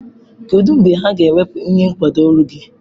Kedu mgbe ha ga-ewepụ ihe nkwado olu gị?